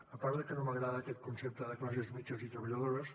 a part de que no m’agrada aquest concepte de classes mitjanes i treballadores